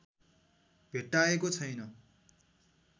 भेट्टाएको छैन